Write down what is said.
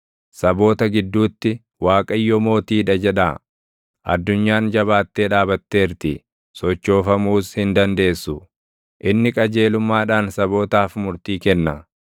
Saboota gidduutti, “ Waaqayyo mootii dha” jedhaa; addunyaan jabaattee dhaabatteerti; sochoofamuus hin dandeessu. Inni qajeelummaadhaan sabootaaf murtii kenna.